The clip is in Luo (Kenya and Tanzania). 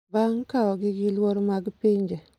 bang’ kaogi gi luor mag pinje.